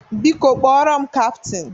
Biko kpọrọ m kaptin!